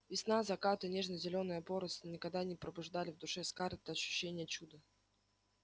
весна закаты нежно-зеленая поросль никогда не пробуждали в душе скарлетт ощущения чуда